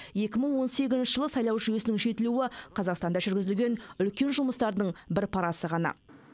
екі мың он сегізінші жылы сайлау жүйесінің жетілуі қазақстанда жүргізілген үлкен жұмыстардың бір парасы ғана